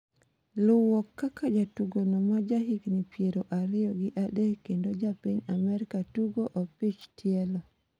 luwo kaka jatugono ma ja higni piero ariyo gi adek kendo japiny Amerka tuko opich tielo